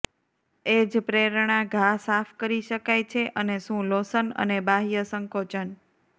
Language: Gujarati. એ જ પ્રેરણા ઘા સાફ કરી શકાય છે અને શું લોશન અને બાહ્ય સંકોચન